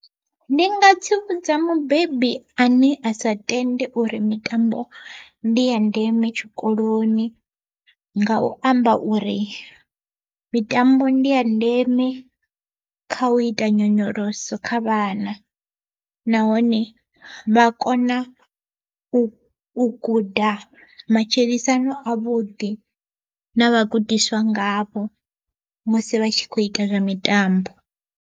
Ndi nga tsivhudza mubebi ane a sa tende uri mitambo ndi ya ndeme tshikoloni, nga u amba uri mitambo ndi ya ndeme kha u ita nyonyoloso kha vhana nahone vha kona u guda matshilisano a vhuḓi na vhagudiswa ngavho musi vha tshi kho ita zwa mitambo.